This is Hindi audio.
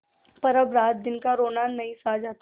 पर अब रातदिन का रोना नहीं सहा जाता